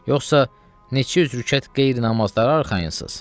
Yoxsa neçə yüz rükət qeyri-namazlara arxayınsınız?